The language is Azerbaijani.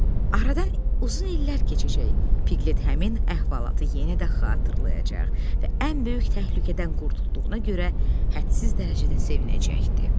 Aradan uzun illər keçəcək, Piglet həmin əhvalatı yenə də xatırlayacaq və ən böyük təhlükədən qurtulduğuna görə hədsiz dərəcədə sevinəcəkdi.